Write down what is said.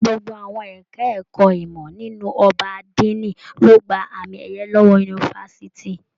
Gbogbo àwọn ẹka ẹ̀kọ́ ìmọ nínú ọgbà adini ló gbà àmi ẹyẹ lọwọ yunifásítì.